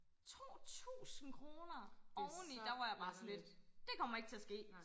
2000 kroner oveni der var jeg bare sådan lidt det kommer ikke til at ske